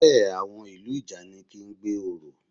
Bẹ́ẹ̀, àwọn ìlú ìjànikin ń gbé orò